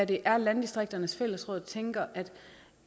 det er landdistrikternes fællesråd tænker